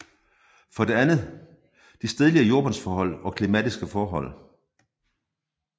For det andet de stedlige jordbundsforhold og klimatiske forhold